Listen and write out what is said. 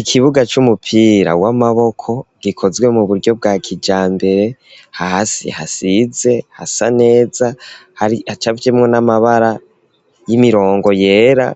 Ikibuga c'umupira w'amaboko gikozwe mu buryo bwa kijambere hasi hasize hasa neza hari hacafyemwo n'amabara y'imirongo yera